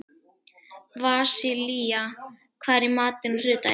Vasilia, hvað er í matinn á þriðjudaginn?